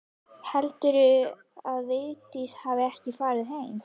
Heldurðu að Vigdís hafi ekki farið heim?